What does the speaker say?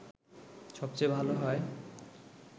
সবচেয়ে ভালো হয়